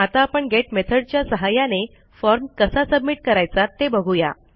आता आपण गेट मेथडच्या सहाय्याने फॉर्म कसा सबमिट करायचा ते बघू या